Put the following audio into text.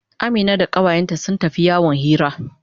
Amina da kawayenta sun tafi yawon hira.